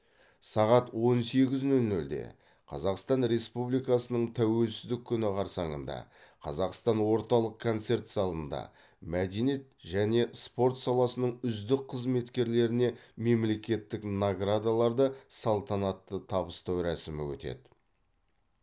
сағат он сегіз нөл нөлде қазақстан республикасының тәуелсіздік күні қарсаңында қазақстан орталық концерт залында мәдениет және спорт саласының үздік қызметкерлеріне мемлекеттік наградаларды салтанатты табыстау рәсімі өтеді